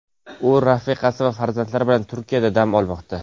U rafiqasi va farzandlari bilan Turkiyada dam olmoqda.